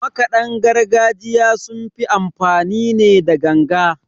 Makadan gargajiya sun fi amfani ne da ganga.